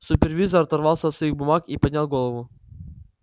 супервизор оторвался от своих бумаг и поднял голову